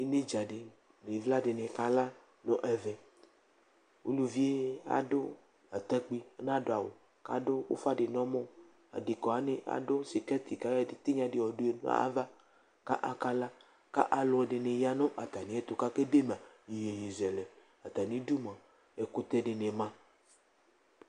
Enedza di nu ivla di ni kala nu ɛvɛ, uluvie adu atakpui ɔna du awu, ku adu ufa di nu ɔmɔ, adeka wʋani adu sikɛti ku ayɔ etigna di yɔ du yadu nu ayava ka akala, ka alɔdini ya nu ata miɛtu ka ke dema yeye zɛlɛ atamidu mʋa ɛkutɛ di ni ma